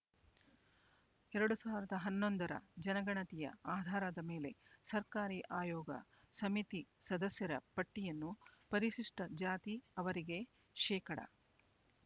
ಎರಡು ಸಾವಿರದ ಹನ್ನೊಂದರ ಜನಗಣತಿಯ ಆಧಾರದ ಮೇಲೆ ಸರ್ಕಾರಿ ಆಯೋಗ ಸಮಿತಿ ಸದಸ್ಯರ ಪಟ್ಟಿಯನ್ನು ಪರಿಶಿಷ್ಟ ಜಾತಿ ಅವರಿಗೆ ಶೇಕಡಾ